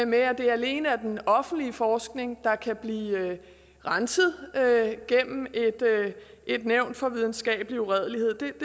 med at det alene er den offentlige forskning der kan blive renset gennem et nævn for videnskabelig uredelighed det